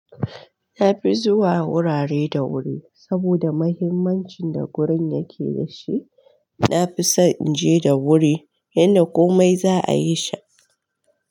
Na fi zuwa wurare da wuri, saboda mahimmancin da gurin yake da shi. Na fi so in je da wuri, inda komai za a yi sha.